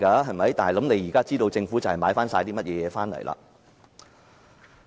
現在大家便知道政府買了甚麼回來。